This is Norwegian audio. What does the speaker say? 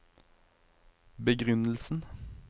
begrunnelsen